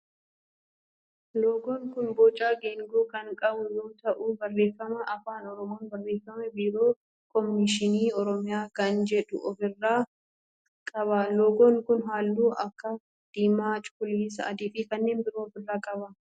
Loogoon kun boca geengoo kan qabu yoo ta'u barreeffama afaan oromoon barreeffame biiroo kominikeeshinii oromiyaa kan jedhu of irraa qaba. Loogoon kun halluu akka diimaa, cuquliisa, adii fi kanneen biroo of irraa qaba.